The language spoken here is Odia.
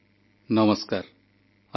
ଦୀପାବଳିରେ ନାରୀ ଶକ୍ତିକୁ ସମ୍ମାନ ଜଣାଉଛି ରାଷ୍ଟ୍ର